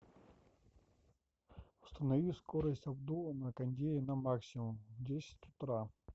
установи скорость обдува на кондее на максимум в десять утра